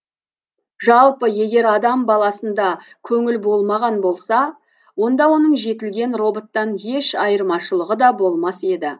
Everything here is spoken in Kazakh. жалпы егер адам баласында көңіл болмаған болса онда оның жетілген роботтан еш айырмашылығы да болмас еді